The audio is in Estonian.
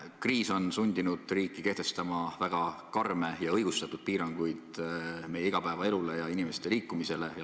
Kriis on sundinud riiki kehtestama väga karme ja õigustatud piiranguid meie igapäevaelule ja inimeste liikumisele.